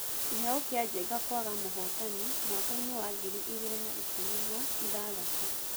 Kĩheo kĩa Njenga kwaga mũhotani mwakpainĩ wa ngiri igĩrĩ na ikũmi na ithathatũ